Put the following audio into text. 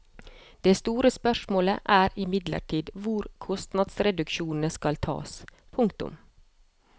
Det store spørsmålet er imidlertid hvor kostnadsreduksjonene skal tas. punktum